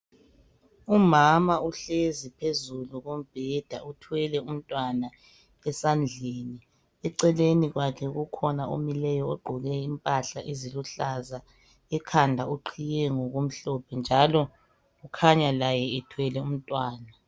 Umama uhlezi phezulu kombheda uthwele umntwana esandleni zakhe eceleni kwakhe ukhona omileyo ogqoke impahla eziluhlaza ekhanda uqhiye ngokumhlophe njalo ukhanya laye ethwele umntwana.